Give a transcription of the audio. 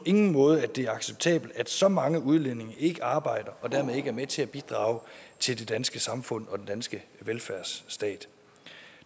ingen måde det er acceptabelt at så mange udlændinge ikke arbejder og dermed ikke er med til at bidrage til det danske samfund og den danske velfærdsstat